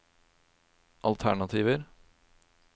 alternativer